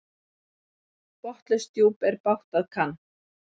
Botnlaust djúp er bágt að kann.